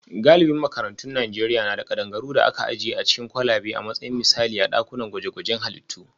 Galibin makarantun Najeriya na da kadangaru da aka ajiye a cikin kwalabe a matsayin misali a dakunan gwaje-gwajen halittu